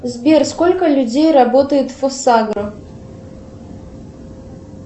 сбер сколько людей работает в фосагро